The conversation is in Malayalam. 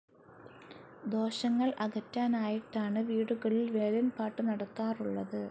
ദോഷങ്ങൾ അകറ്റാനായിട്ടാണ് വീടുകളിൽ വേലൻ പാട്ടു നടത്താറുള്ളത്.